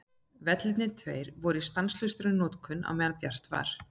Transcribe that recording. Vellirnir tveir voru í stanslausri notkun meðan bjart var.